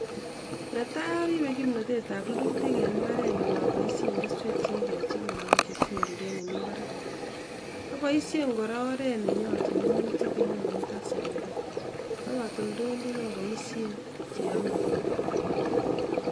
Tos iyainee sirib kimnotetab rurutik en mbareng'ung'?